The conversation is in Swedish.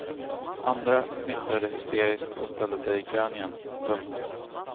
Andra fnittrade hysteriskt och ställde sig i kön igen. punkt